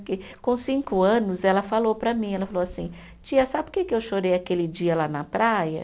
Porque com cinco anos, ela falou para mim, ela falou assim, tia, sabe por que que eu chorei aquele dia lá na praia?